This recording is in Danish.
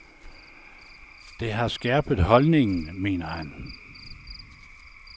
Det har skærpet holdningen, mener han.